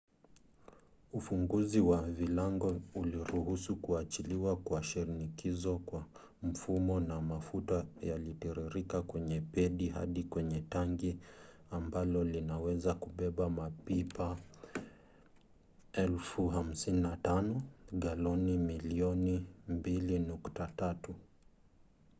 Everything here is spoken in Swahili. ufunguzi wa vilango uliruhusu kuachiliwa kwa shinikizo kwa mfumo na mafuta yalitiririka kwenye pedi hadi kwenye tangi ambalo linaweza kubeba mapipa 55,000 galoni milioni 2.3